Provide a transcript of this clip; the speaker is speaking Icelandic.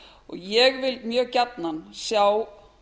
ég vil mjög gjarnan sjá